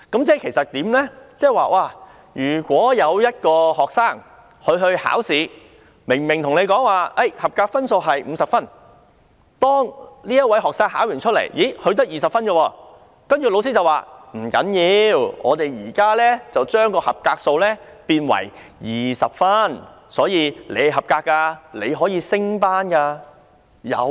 這即是說，如果有一名學生考試，本來說清楚合格分數是50分，但這名學生在考試中只考獲20分，老師便說不要緊，我們現時把合格分數改為20分，所以他是合格的，可以升班了。